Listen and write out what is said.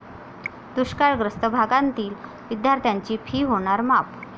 दुष्काळग्रस्त भागातील विद्यार्थ्यांची 'फी' होणार माफ!